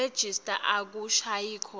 nerejista akushayi khona